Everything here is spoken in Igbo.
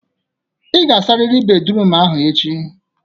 Ị ga-asarịrị bédrụum ahụ echi!